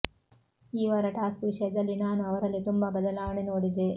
ಈ ವಾರ ಟಾಸ್ಕ್ ವಿಷಯದಲ್ಲಿ ನಾನು ಅವರಲ್ಲಿ ತುಂಬಾ ಬದಲಾವಣೆ ನೋಡಿದೆ